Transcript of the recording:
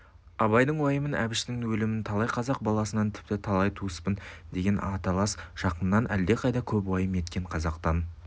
абайдың уайымын әбіштің өлімін талай қазақ баласынан тіпті талай туыспын деген аталас жақыннан әлдеқайда көп уайым еткен қазақтан